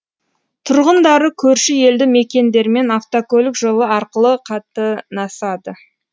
тұрғындары көрші елді мекендермен автокөлік жолы арқылы қатынасады